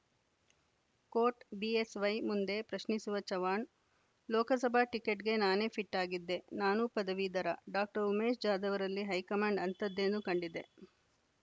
coat BSY ಮುಂದೆ ಪ್ರಶ್ನಿಸುವಚವ್ಹಾಣ್‌ ಲೋಕಸಭಾ ಟಿಕೆಟ್‌ಗೆ ನಾನೇ ಫಿಟ್‌ ಆಗಿದ್ದೆ ನಾನೂ ಪದವೀಧರ ಡಾಉಮೇಶ ಜಾಧವರಲ್ಲಿ ಹೈಕಮಾಂಡ್‌ ಅಂತಹದ್ದೇನು ಕಂಡಿದೆ